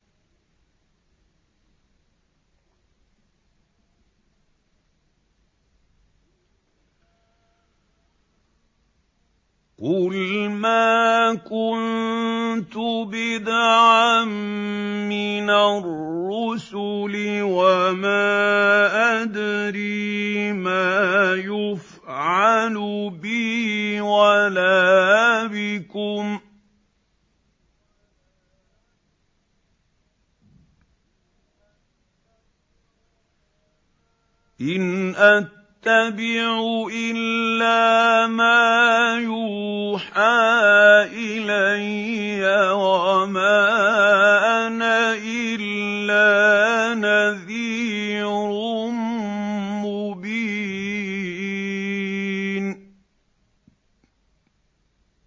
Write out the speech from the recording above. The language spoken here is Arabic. قُلْ مَا كُنتُ بِدْعًا مِّنَ الرُّسُلِ وَمَا أَدْرِي مَا يُفْعَلُ بِي وَلَا بِكُمْ ۖ إِنْ أَتَّبِعُ إِلَّا مَا يُوحَىٰ إِلَيَّ وَمَا أَنَا إِلَّا نَذِيرٌ مُّبِينٌ